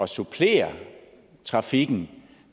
supplere trafikken